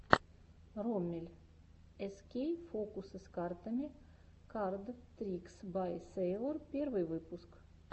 роммель эскей фокусы с картами кард трикс бай сэйлор первый выпуск